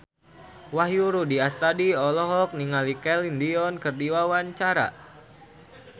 Wahyu Rudi Astadi olohok ningali Celine Dion keur diwawancara